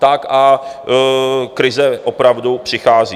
Tak a krize opravdu přichází.